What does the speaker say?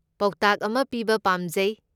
ꯄꯥꯎꯇꯥꯛ ꯑꯃ ꯄꯤꯕ ꯄꯥꯝꯖꯩ꯫